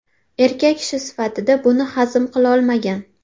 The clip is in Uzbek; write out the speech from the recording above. Erkak kishi sifatida buni hazm qilolmagan.